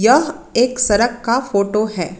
यह एक सड़क का फोटो है।